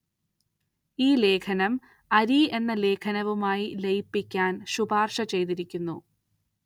ഈ ലേഖനം അരി എന്ന ലേഖനവുമായി ലയിപ്പിക്കാന്‍ ശുപാര്‍ശ ചെയ്തിരിക്കുന്നു